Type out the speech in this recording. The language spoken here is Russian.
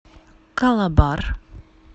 калабар